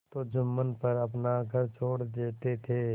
तो जुम्मन पर अपना घर छोड़ देते थे